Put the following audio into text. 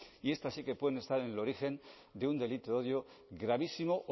y estas sí que pueden estar en el origen de un delito de odio gravísimo